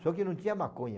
Só que não tinha maconha.